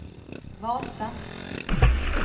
Vasa